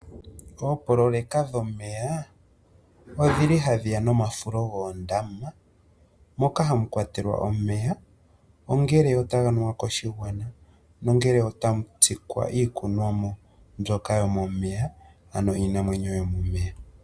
Oopololeka dhomeya odhili hadhi ya nomafulo goondama, moka hamu kwatelwa omeya ongele taga nuwa koshigwana, nongele otamu tsikwa iikunwamo mbyoka yomomeya, ano iinamwenyo yomomeya.